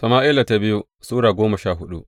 biyu Sama’ila Sura goma sha hudu